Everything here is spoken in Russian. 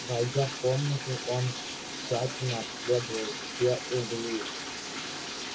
войдя в комнату он тщательно обследовал все углы